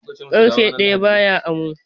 Ƙarfe ɗaya ba ya amo.